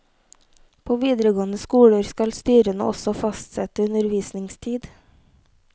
På videregående skoler skal styrene også fastsette undervisningstid.